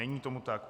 Není tomu tak.